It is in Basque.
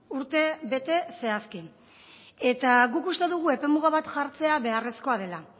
urtebete zehazki eta guk uste dugu epemuga bat jartzea beharrezkoa dela